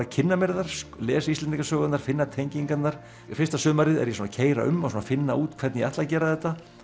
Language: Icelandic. að kynna mér þær lesa Íslendingasögurnar finna tengingarnar fyrsta sumarið er ég að keyra um og finna út hvernig ég ætla að gera þetta